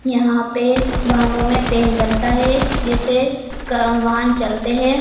यहां पे वाहनों में तेल डलता है जिससे क वाहन चलते हैं।